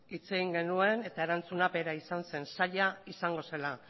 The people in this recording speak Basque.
hitz egin genuen eta erantzuna bera izan zen zaila izango zela